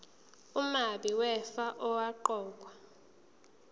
umabi wefa owaqokwa